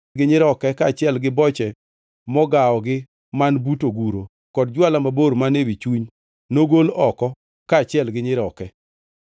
gi nyiroke kaachiel gi boche mogawogi man but oguro, kod jwala mabor man ewi chuny nogol oko kaachiel gi nyiroke.